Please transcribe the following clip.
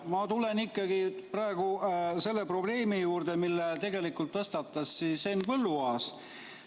Ma tulen ikkagi praegu selle probleemi juurde, mille tõstatas Henn Põlluaas.